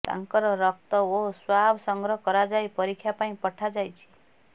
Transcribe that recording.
ତାଙ୍କର ରକ୍ତ ଓ ସ୍ବାବ୍ ସଂଗ୍ରହ କରାଯାଇ ପରୀକ୍ଷା ପାଇଁ ପଠାଯାଇଛି